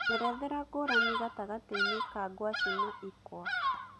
njerethera ngũrani gatagatĩ-inĩ ka ngwacĩ na ĩkũa